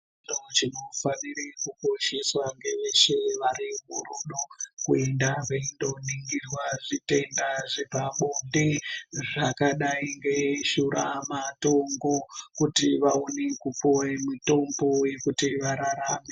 Koitawo chinofanire kukosheswa ngeveshe vari murudo kuenda veindoningirwa zvitenda zvepabonde zvakadai ngeshuramatongo kuti vaone kupuwe mutombo wekuti vararame.